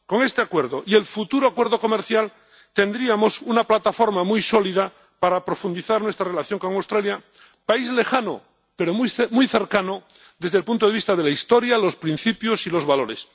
Con este Acuerdo y el futuro acuerdo comercial tendríamos una plataforma muy sólida para profundizar nuestra relación con Australia, país lejano pero muy cercano desde el punto de vista de la historia, los principios y los valores.